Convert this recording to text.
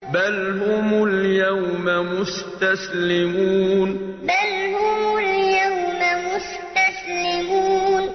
بَلْ هُمُ الْيَوْمَ مُسْتَسْلِمُونَ بَلْ هُمُ الْيَوْمَ مُسْتَسْلِمُونَ